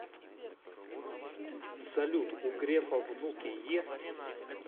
салют у грефа внуки есть